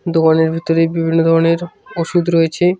দোকানের ভিতরে বিভিন্ন ধরনের ওষুধ রয়েছে।